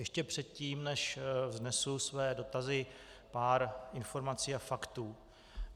Ještě předtím, než vznesu své dotazy, pár informací a faktů.